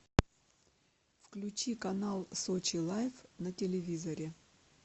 включи канал сочи лайф на телевизоре